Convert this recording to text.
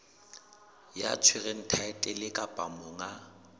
ya tshwereng thaetlele kapa monga